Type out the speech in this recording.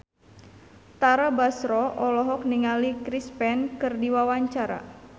Tara Basro olohok ningali Chris Pane keur diwawancara